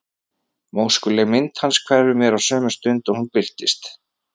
Móskuleg mynd hans hverfur mér á sömu stund og hún birtist.